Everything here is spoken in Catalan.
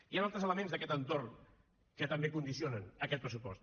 hi han altres elements d’aquest entorn que també condicionen aquest pressupost